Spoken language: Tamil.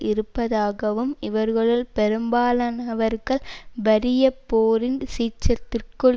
இருப்பதாகவும் இவர்களுள் பெரும்பாலானவர்கள் வறிய போரின் சீற்றத்திற்குள்